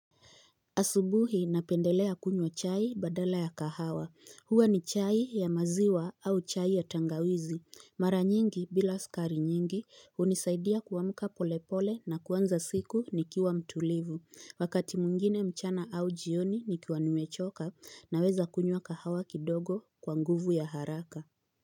Asubuhi napendelea kunywa chai badala ya kahawa huwa ni chai ya maziwa au chai ya tangawizi mara nyingi bila skari nyingi unisaidia kuamka pole pole na kuanza siku nikiwa mtulivu wakati mwingine mchana au jioni nikiwa nimechoka na weza kunywa kahawa kidogo kwa nguvu ya haraka.